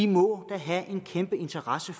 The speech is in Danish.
må da have en kæmpe interesse